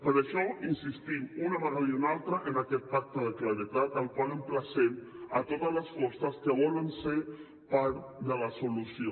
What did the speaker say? per això insistim una vegada i una altra en aquest pacte de claredat al qual emplacem totes les forces que volen ser part de la solució